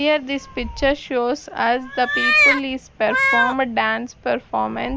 here this picture shows as the people is perform a dance performan --